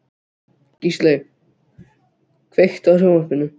Gísley, kveiktu á sjónvarpinu.